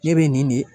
Ne bɛ nin de